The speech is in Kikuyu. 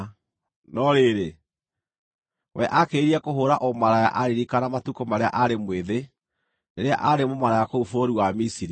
No rĩrĩ, we aakĩrĩrĩirie kũhũũra ũmaraya aaririkana matukũ marĩa aarĩ mwĩthĩ, rĩrĩa aarĩ mũmaraya kũu bũrũri wa Misiri.